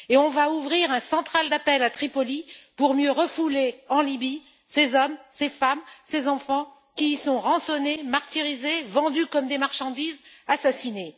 Et on va ouvrir un central d'appels à Tripoli pour mieux refouler en Libye ces hommes, ces femmes, ces enfants qui sont rançonnés, martyrisés, vendus comme des marchandises, assassinés.